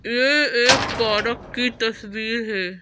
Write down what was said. ये एक पारक की तस्वीर है।